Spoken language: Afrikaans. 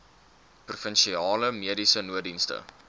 provinsiale mediese nooddienste